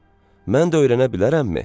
Mən də öyrənə bilərəmmi?